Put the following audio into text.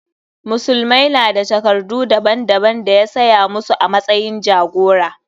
Musulmai na da takardu daban daban da ya saya musu a matsayin jagora.